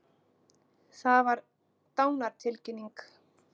Það var dánartilkynning.